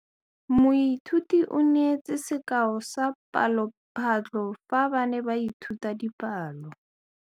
Moithuti o neetse sekaô sa palophatlo fa ba ne ba ithuta dipalo.